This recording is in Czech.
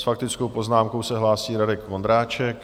S faktickou poznámkou se hlásí Radek Vondráček.